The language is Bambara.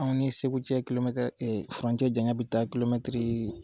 Anw ni segu cɛ kilomɛtiri e e furancɛ jan ya bi taa kulomɛtiri